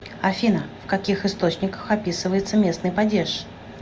афина в каких источниках описывается местный падеж